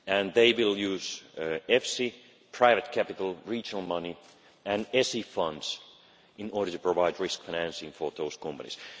They will use private capital, regional money and EFSI funds in order to provide risk financing for those companies.